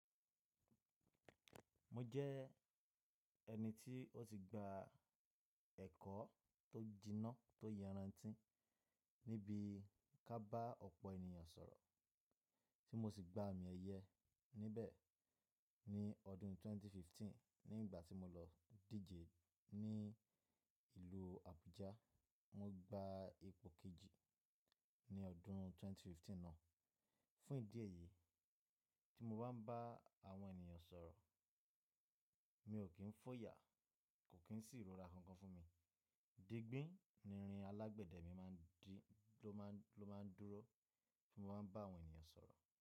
Mo jẹ́ ẹni tí ó ti gba ẹ̀kọ́ tó jìnà tó yaran tíń níbi kábà ọ̀pọ̀ ènìyàn sọ̀rọ̀ tí mo sì gba àmì ẹ̀yẹ níbẹ̀ ní ọdún ẹgbẹ̀rún méjì ó lé ẹ̀ẹ́dógún nígbà tí mo lọ díje ní ìlú Abuja. Mo gba ipò kejì ní ọdún ẹgbẹ̀rún méjì ó lé ẹ̀ẹ́dógún náà. Fún ìdí èyí tí mo bá ń bá àwọn ènìyàn sọ̀rọ̀, mi ò kí ń fòyà kò kí ń sì rọra kankan fún mi. Digbi ni, irin alágbẹ̀dẹ mi máa ń di ló máa, ló máa ń dúró tí mo bá ń bá àwọn ènìyàn sọ̀rọ̀